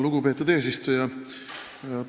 Lugupeetud eesistuja!